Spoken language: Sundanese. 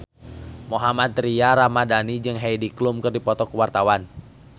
Mohammad Tria Ramadhani jeung Heidi Klum keur dipoto ku wartawan